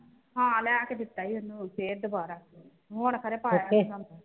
ਹੈ ਲਿਆ ਕੇ ਦਿੱਤੋ ਹੈ ਫਿਰ ਦੁਬਾਰਾ ਹੁਣ ਕਰੇ